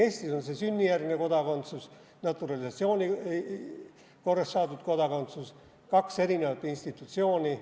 Eestis on sünnijärgne kodakondsus ja naturalisatsiooni korras saadud kodakondsus, kaks erinevat institutsiooni.